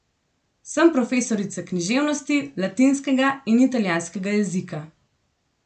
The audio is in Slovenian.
Sem profesorica književnosti, latinskega in italijanskega jezika.